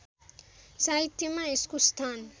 साहित्यमा यसको स्थान